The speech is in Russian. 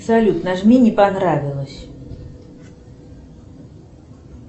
салют нажми не понравилось